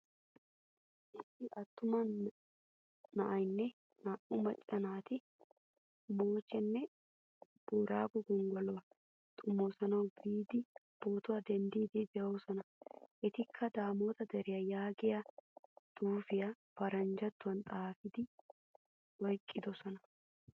Issi attuma na'aynne naa'u macca naati mochchenaa boorago gonggoluwaa xomoosanawu biidi pootuwaa denddidi deosona. Etikka daamota deriyaa yaagiyaa xuufiyaa paranjjatuwan xaafidi oyqqidosona.